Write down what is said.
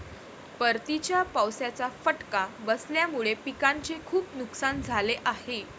परतीच्या पावसाचा फटका बसल्यामुळे पिकांचे खूप नुकसान झाले आहे.